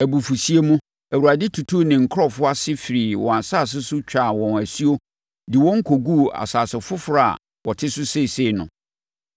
Abufuhyeɛ mu, Awurade tutuu ne nkurɔfoɔ ase firii wɔn asase so twaa wɔn asuo de wɔn kɔguu asase foforɔ a wɔte so seesei no.”